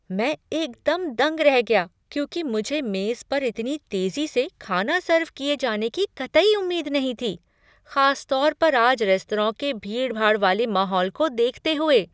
मैं एकदम दंग रह गया क्योंकि मुझे मेज पर इतनी तेजी से खाना सर्व किए जाने की कतई उम्मीद नहीं थी, खास तौर पर आज रात रेस्तरां के भीड़ भाड़ वाले माहौल को देखते हुए।